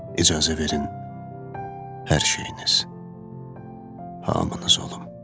İcazə verin hər şeyiniz, hamınız olum.